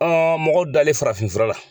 mɔgɔ dalen farafintura la.